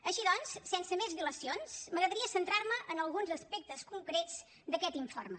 així doncs sense més dilacions m’agradaria centrar me en alguns aspectes concrets d’aquest informe